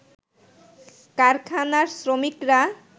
কারখানার শ্রমিকরা